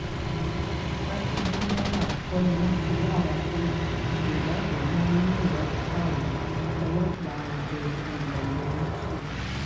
akínbùmálà kọ́ ni wọ́n ti láwọn kò nígbàgbọ́ mọ́ nínú ìwádìí táwọn ọlọ́pàá ọdẹ-ìrẹ̀lẹ̀ ń ṣe